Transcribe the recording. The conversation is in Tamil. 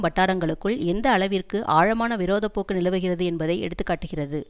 வட்டாரங்களுக்குள் எந்த அளவிற்கு ஆழமான விரோத போக்கு நிலவுகிறது என்பதை எடுத்து காட்டுகிறது